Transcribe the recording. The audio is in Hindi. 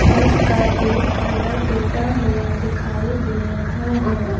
बस का गेट थोड़ा टूटा हुआ दिखाई दे रहा है।